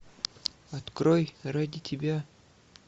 открой ради тебя